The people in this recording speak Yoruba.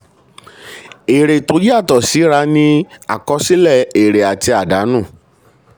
èrè tó yàtọ̀ síra ni àkọsílẹ̀ èrè àti àdánù.